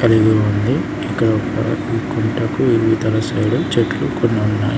కలిగి ఉంది ఇక్కడ ఒక కుంటకు ఇవుతాల సైడ్ ఉ చెట్లు కొన్నున్నాయి.